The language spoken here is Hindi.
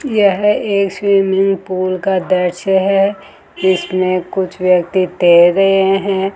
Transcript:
यह एक शेमली पूल का दृश्य है जिसमें कुछ व्यक्ति तैर रहे हैं।